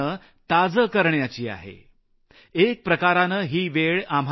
एक प्रकारे ही वेळ आम्हाला हे सांगत आहे की सोशल डिस्टन्सिंग वाढवा मात्र भावनिक अंतर कमी करा